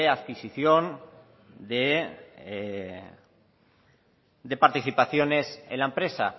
adquisición de participaciones en la empresa